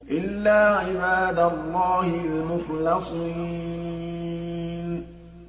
إِلَّا عِبَادَ اللَّهِ الْمُخْلَصِينَ